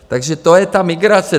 Takže to je ta migrace.